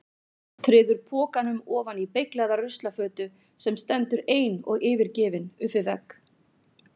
Treður pokanum ofan í beyglaða ruslafötu sem stendur ein og yfirgefin upp við vegg.